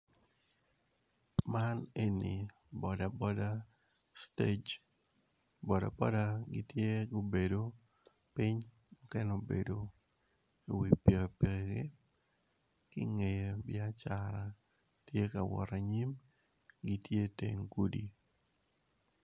Man eni boda boda stage bodaboda gitye gubedo ping mukene mukene obedo i wi pikipiki kingeye byacara tye ka wot anyim gitye teng gudi.